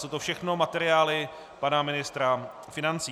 Jsou to všechno materiály pana ministra financí.